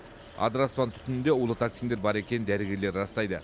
адыраспан түтінінде улы токсиндер бар екенін дәрігерлер растайды